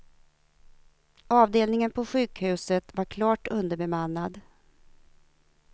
Avdelningen på sjukhuset var klart underbemannad.